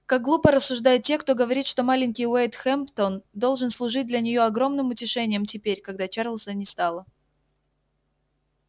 как глупо рассуждают те кто говорит что маленький уэйд хэмптон должен служить для неё огромным утешением теперь когда чарлза не стало